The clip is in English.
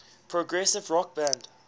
progressive rock band